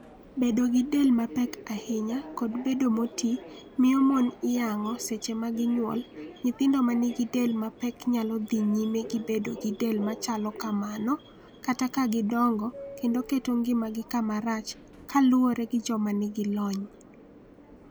Bedo gi del mapek ahinya kod bedo moti miyo mon iyang'o seche magi nywol Nyithindo ma nigi del mapek nyalo dhi nyime gi bedo gi del machalo kamano kata ka gidongo kendo keto ngimagi kamarach kaluwore gi joma nigi lony.